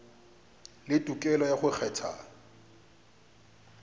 le tokelo ya go kgetha